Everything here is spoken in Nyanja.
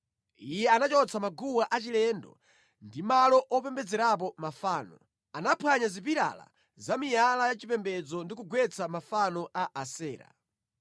Iye anachotsa maguwa achilendo ndi malo opembedzerapo mafano, anaphwanya zipilala za miyala yachipembedzo ndi kugwetsa mafano a Asera.